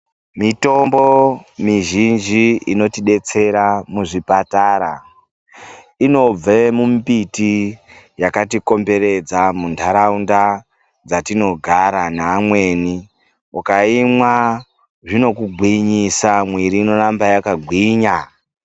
Mitombo mizhinji inotidetsera muzvipatara inobva mumbiti yakatikomberedza muntaraunda dzatinogara neamweni ukaimwa zvinokugwinyisa mwiri inoramba yakagwinya.